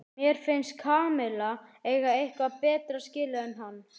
Mér finnst Kamilla eiga eitthvað betra skilið en hann.